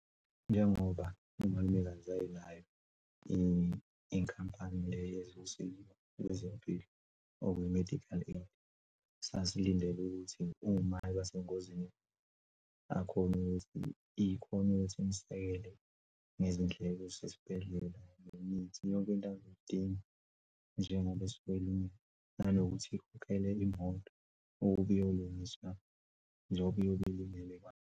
Njengoba umalumekazi wayenayo inkampani yezosizo lwezempilo or kwi-medical aid sasilindele ukuthi uma ibasengozini ikhone ukuthi, akhone ukuthi imsekele ngezindleko zesibhedlela, nemithi. Yonke into azoyidinga njengoba esuke elimele nanokuthi kukhokhelwe imoto ukuthi iyolungiswa njengoba kuyobe .